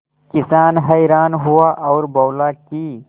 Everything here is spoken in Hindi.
किसान हैरान हुआ और बोला कि